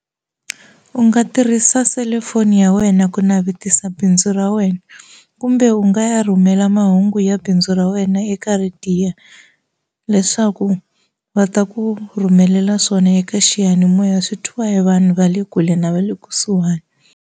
U nga tirhisa selufoni ya wena ku navetisa bindzu ra wena kumbe u nga ya rhumela mahungu ya bindzu ra wena eka leswaku va ta ku rhumelela swona eka xiyanimoya swi twiwa hi vanhu va le kule na va le kusuhani.